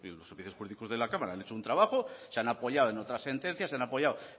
los servicios jurídicos de la cámara han hecho un trabajo se han apoyado en otras sentencias se ha apoyado